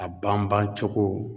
A banbancogo